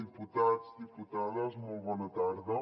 diputats diputades molt bona tarda